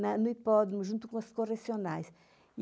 no hipódromo, junto com as correcionais.